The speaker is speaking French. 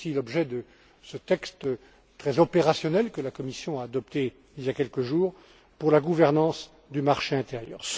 C'est aussi l'objet de ce texte très opérationnel que la Commission a adopté, il y a quelques jours, pour la gouvernance du marché intérieur.